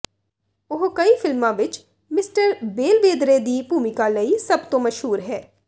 ਉਹ ਕਈ ਫਿਲਮਾਂ ਵਿਚ ਮਿਸਟਰ ਬੇਲਵੇਦਰੇ ਦੀ ਭੂਮਿਕਾ ਲਈ ਸਭ ਤੋਂ ਮਸ਼ਹੂਰ ਹੈ